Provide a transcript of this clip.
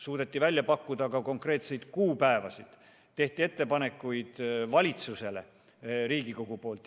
Suudeti välja pakkuda konkreetseid kuupäevasid, tehti valitsusele Riigikogu poolt ettepanekuid.